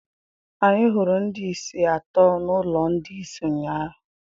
Anyị hụrụ ndị isi atọ n'ụlọ ndị isi ụnyaahụ.